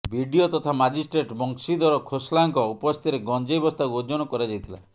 BDO ତଥା magistrate Banshidhar ଖୋସ୍ଲାଙ୍କ ଉପସ୍ଥିତିରେ ଗଞ୍ଜେଇ ବସ୍ତାକୁ ଓଜନ କରାଯାଇଥିଲା